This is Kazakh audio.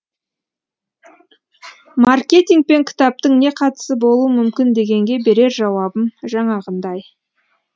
маркетинг пен кітаптың не қатысы болуы мүмкін дегенге берер жауабым жаңағындай